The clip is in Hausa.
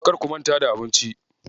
Kar ku manta da abinci.